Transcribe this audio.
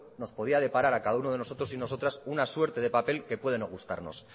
nos podía deparar a cada uno de nosotros y nosotras una suerte de papel que puede no gustarnos